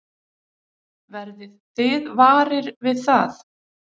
Verðið þið varir við það?